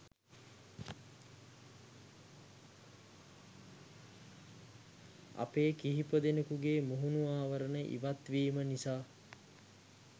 අපේ කීපදෙනකුගේ මුහුණු ආවරණ ඉවත්වීම නිසා